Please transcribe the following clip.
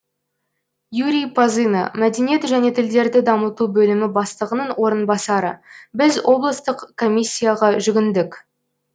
юрий пазына мәдениет және тілдерді дамыту бөлімі бастығының орынбасары біз облыстық комиссияға жүгіндік